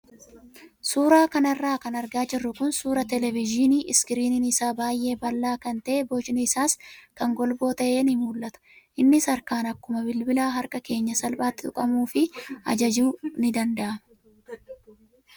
Suuraa kanarra kan argaa jirru kun suuraa televezyiinii iskiriiniin isaa baay'ee bal'aa kan ta'e bocni isaas kan golboo ta'e ni mul'ata. Innis harkaan akkuma bilbila harkaa keenyaa salphaatti tuqamuu fi ajajuun ni danda'ama.